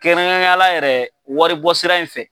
Kɛrɛnkɛrɛnyara yɛrɛ waribɔ sira in fɛ.